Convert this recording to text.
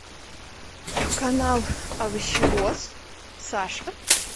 канал овощевоз саша